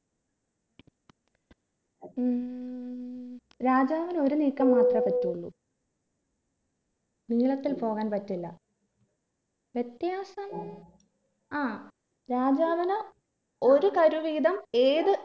ഉം രാജാവിന് ഒരു നീക്കം മാത്രമേ പറ്റുള്ളൂ നീളത്തിൽ പോകാൻ പറ്റില്ല വ്യത്യാസം ആ രാജാവിന് ഒരു കരു വീതം ഏത്